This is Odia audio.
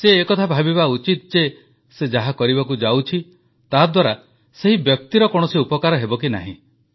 ସେ ଏକଥା ଭାବିବା ଉଚିତ ଯେ ସେ ଯାହା କରିବାକୁ ଯାଉଛି ତାଦ୍ୱାରା ସେହି ବ୍ୟକ୍ତିର କୌଣସି ଉପକାର ହେବ କି ନାହିଁ